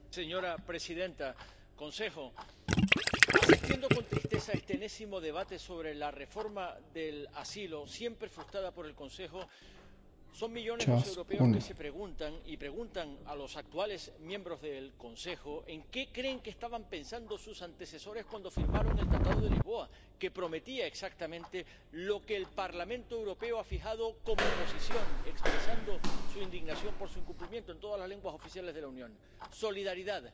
Señora presidenta, señor presidente en ejercicio del Consejo, asistiendo con tristeza a este enésimo debate sobre la reforma del asilo —siempre frustrada por el Consejo— son millones los europeos que se preguntan y preguntan a los actuales miembros del Consejo en qué creen que estaban pensando sus antecesores cuando firmaron el Tratado de Lisboa, que prometía exactamente lo que el Parlamento Europeo ha fijado como posición, expresando su indignación por su incumplimiento en todas las lenguas oficiales de la Unión solidaridad,